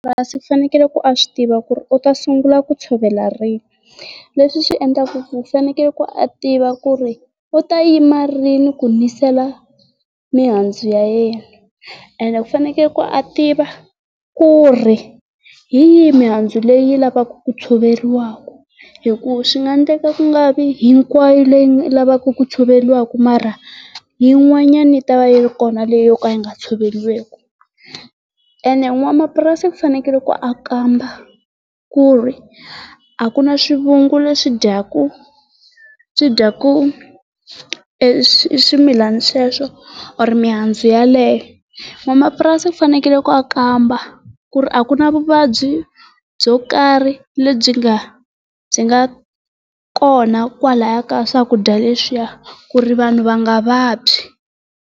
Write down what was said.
u fanekele a swi tiva ku u ta sungula ku tshovela rini leswi swi endlaka ku fanekele ku a tiva ku ri u ta yima rini ku nisela mihandzu ya yena ene u fanekele ku a tiva ku ri hi yihi mihandzu leyi yi lavaka ku tshoveriwaka hi ku swi nga endleka ku nga vi hinkwayo leyi yi lavaka ku tshoveriwa mara yin'wanyana yi tava yi ri kona leyi yi nga tshoveriweki. Ene n'wamapurasi fanekele ku a kamba ku ri a ku na swivungu leswi dyaka swi dyaka swimilana sweswo or mihandzu yaleyo. N'wamapurasi ku fanele ku a kamba ku ri a ku na vuvabyi byo karhi lebyi nga byi nga kona kwalaya ka swakudya leswi ya ku ri vanhu va nga vabyi.